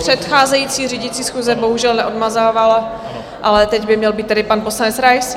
Předcházející řídící schůze bohužel neodmazávala, ale teď by měl být tedy pan poslanec Rais.